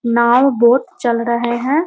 नाव boat चल रहे हैं।